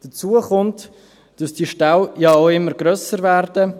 Hinzu kommt, dass die Ställe ja auch immer grösser werden.